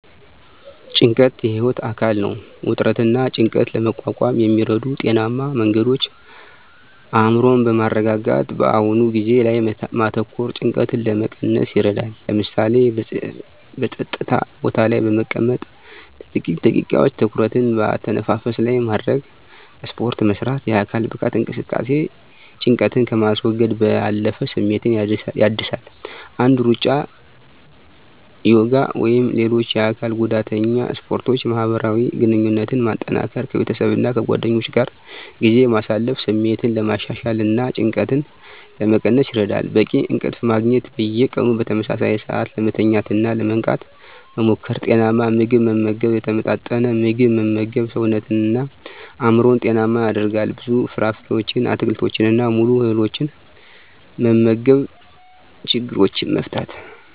ጭንቀት የህይወት አካል ነው። ውጥረትንና ጭንቀትን ለመቋቋም የሚረዱ ጤናማ መንገዶች አእምሮን በማረጋጋት በአሁኑ ጊዜ ላይ ማተኮር ጭንቀትን ለመቀነስ ይረዳል። ለምሳሌ፣ በጸጥታ ቦታ ላይ በመቀመጥ ለጥቂት ደቂቃዎች ትኩረትን በአተነፋፈስ ላይ ማድረግ። ስፖርት መስራት: የአካል ብቃት እንቅስቃሴ ጭንቀትን ከማስወገድ ባለፈ ስሜትን ያድሳል። እንደ ሩጫ፣ ዮጋ ወይም ሌሎች የአካል ጉዳተኛ ስፖርቶችን ማህበራዊ ግንኙነትን ማጠናከር ከቤተሰብና ከጓደኞች ጋር ጊዜ ማሳለፍ ስሜትን ለማሻሻልና ጭንቀትን ለመቀነስ ይረዳል። በቂ እንቅልፍ ማግኘት። በየቀኑ በተመሳሳይ ሰዓት ለመተኛትና ለመንቃት መሞከር። ጤናማ ምግብ መመገብ የተመጣጠነ ምግብ መመገብ ሰውነትንና አእምሮን ጤናማ ያደርጋል። ብዙ ፍራፍሬዎችን፣ አትክልቶችንና ሙሉ እህሎችን መመገብ። ችግሮችን መፍታት።